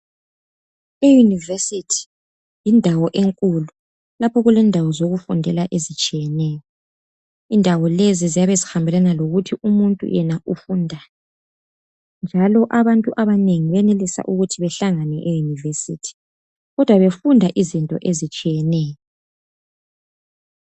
I university yindawo enkulu lapho okulendawo zokufundela ezitshiyeneyo. Indawo lezi ziyabe zihambelana lokuthi umuntu yena ufundani njalo abantu abanengi benelisa ukuthi behlangane e university kodwa befunda izinto ezitshiyeneyo.